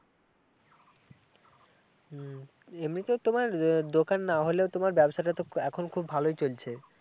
হম এমনিতে তোমার দোকান না হলেও তোমার ব্যবসাটা তো এখন খুব ভালোই চলছে